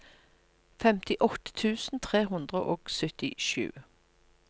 femtiåtte tusen tre hundre og syttisju